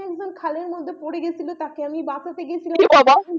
সেখানে খালের মধ্যে পড়ে গেছিল তারপর তাকে আমি বাঁচাতে গেছিলাম, ও বাবা।